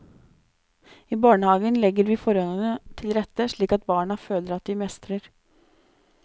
I barnehagen legger vi forholdene til rette slik at barna føler at de mestrer.